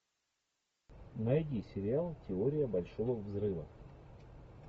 найди сериал теория большого взрыва